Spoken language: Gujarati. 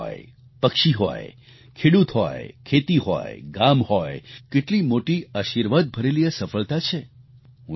પશુ હોય પક્ષી હોય ખેડૂત હોય ખેતી હોય ગામ હોય કેટલી મોટી આશિર્વાદ ભરેલી આ સફળતા છે